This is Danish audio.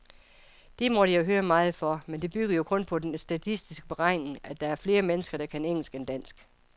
Det måtte jeg høre meget for, men det byggede jo kun på den statistiske beregning, at der er flere mennesker, der kan engelsk end dansk.